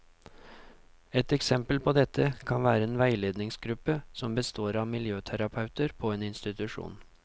Et eksempel på dette kan være en veiledningsgruppe som består av miljøterapeuter på en institusjon.